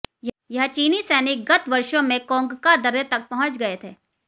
यह चीनी सैनिक गत वर्षों में कोंगका दर्रे तक पहुँच गये थे